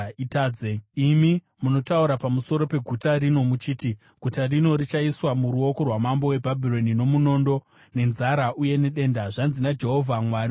“Imi munotaura pamusoro peguta rino muchiti, ‘Guta rino richaiswa muruoko rwamambo weBhabhironi, nomunondo, nenzara, uye nedenda’; zvanzi naJehovha, Mwari weIsraeri: